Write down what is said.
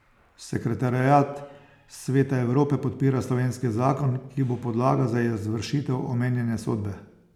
Sekretariat Sveta Evrope podpira slovenski zakon, ki bo podlaga za izvršitev omenjene sodbe.